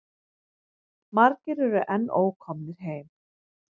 Margir eru enn ókomnir heim.